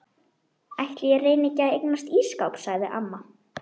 Drekkur þarna frítt vegna fyrri frægðar.